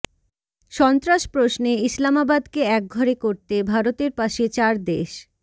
সন্ত্রাস প্রশ্নে ইসলামাবাদকে একঘরে করতে ভারতের পাশে চার দেশ